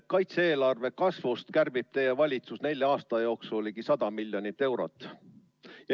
Kaitse-eelarve kasvust kärbib teie valitsus nelja aasta jooksul ligi 100 miljonit eurot.